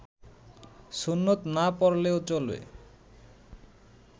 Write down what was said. সুন্নত না পড়লেও চলে